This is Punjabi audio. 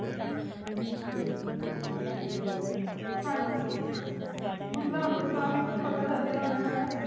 ਹਨ ਜੀ ਮਤਲਬ ਤੋਹਾਨੋ ਕਾਫੀ ਕੁਛ ਪਤਾ ਲਾਗ ਗਯਾ ਹੋਣਾ ਆ